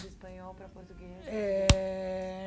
De espanhol para português É